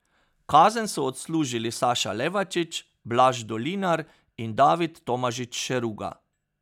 Kazen so odslužili Saša Levačič, Blaž Dolinar in David Tomažič Šeruga.